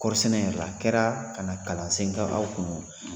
Kɔɔri sɛnɛ yɛrɛ la , kɛra kana kalansen k'aw kun